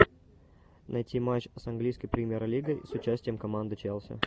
найти матч с английской премьер лигой с участием команды челси